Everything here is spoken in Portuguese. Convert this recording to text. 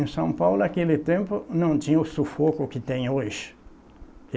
Em São Paulo naquele tempo não tinha o sufoco que tem hoje.